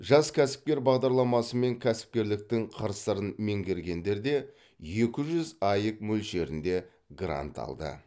жас кәсіпкер бағдарламасымен кәсіпкерліктің қыр сырын меңгергендер де екі жүз аек мөлшерінде грант алды